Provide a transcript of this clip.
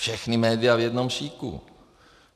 Všechna média v jednom šiku.